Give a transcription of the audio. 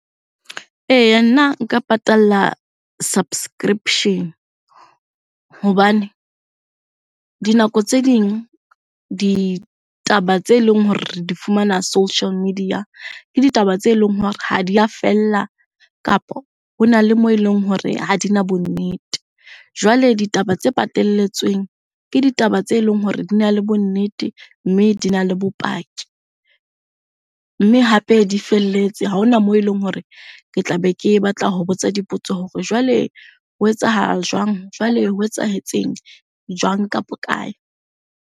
Eya nna nka patalla subscription-e hobane, dinako tse ding ditaba tse leng hore re di fumana social media, ke ditaba tse leng hore ha di a fella kapo ho na le moo e leng hore ha dina bonnete. Jwale ditaba tse patalletsweng, ke ditaba tse leng hore di na le bonnete mme dina le bopaki. Mme hape, di felletse ha hona moo eleng hore ke tla be ke batla ho botsa dipotso hore jwale ho etsahala jwang? Jwale ho etsahetseng? Jwang ka .